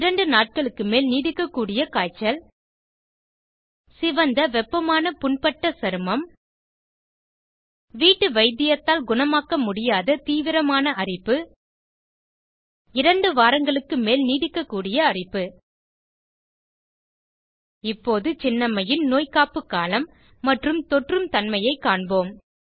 இரண்டு நாட்களுக்கு மேல் நீடிக்க கூடிய காய்ச்சல் சிவந்த வெப்பமான புண்பட்ட சருமம் வீட்டு வைத்தியத்தால் குணமாக்க முடியாத தீவரமான அரிப்பு 2 வாரங்களுக்கு மேல் நீடிக்கக்கூடிய அரிப்பு இப்போது சின்னம்மையின் நோய்க்காப்பு காலம் மற்றும் தொற்றும் தன்மையைக் காண்போம்